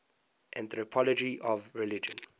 anthropology of religion